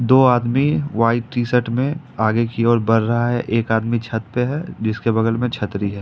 दो आदमी white T shirt में आगे की ओर बढ़ रहा है एक आदमी छत पे है जिसके बगल में छतरी है।